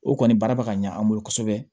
O kɔni baara bɛ ka ɲɛ an bolo kosɛbɛ